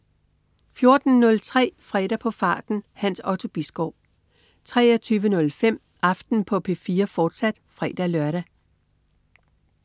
14.03 Fredag på farten. Hans Otto Bisgaard 23.05 Aften på P4, fortsat (fre-lør)